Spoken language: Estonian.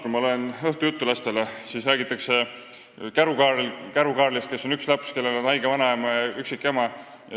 Kui ma loen lastele õhtujuttu, siis seal räägitakse Käru-Kaarlist, kes on üksik laps, kellel on haige vanaema ja üksikema.